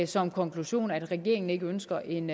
som konklusion at regeringen ikke ønsker en